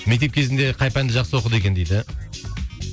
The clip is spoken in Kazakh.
мектеп кезінде қай пәнді жақсы оқыды екен дейді